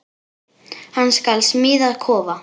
Hann skal smíða kofa.